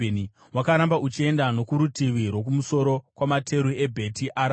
Wakaramba uchienda nokurutivi rwokumusoro kwamateru eBheti Arabha.